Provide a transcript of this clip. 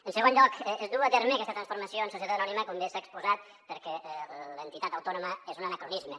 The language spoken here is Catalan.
en segon lloc es du a terme aquesta transformació en societat anònima com bé s’ha exposat perquè l’entitat autònoma és un anacronisme